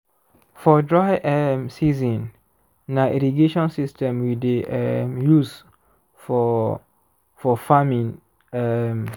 for dry um season na irrigation system we dey um use for for farming um